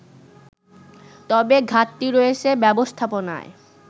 তবে ঘাটতি রয়েছে ব্যবস্থাপনায়